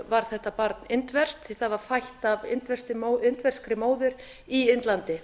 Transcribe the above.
var þetta barn indverskt því það var fætt af indverskri móður í indlandi